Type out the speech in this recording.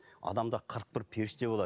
адамда қырық бір періште болады